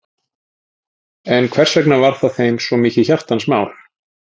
En hversvegna var það þeim svo mikið hjartans mál?